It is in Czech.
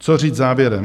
Co říct závěrem?